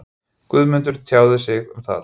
Guðmundur tjáði sig um það.